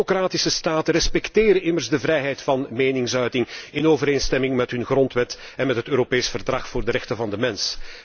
Democratische staten respecteren immers de vrijheid van meningsuiting in overeenstemming met hun grondwet en met het Europees Verdrag voor de rechten van de mens.